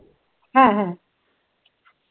হ্যাঁ হ্যা